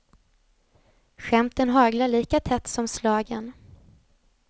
Skämten haglar lika tätt som slagen.